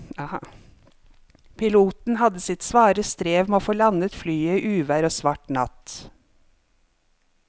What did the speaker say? Piloten hadde sitt svare strev med å få landet flyet i uvær og svart natt.